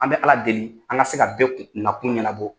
An bɛ ala deli, an ka se ka bɛɛ na kun ɲɛnabɔ.